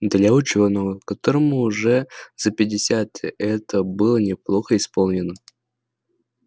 для учёного которому уже за пятьдесят это было неплохо исполнено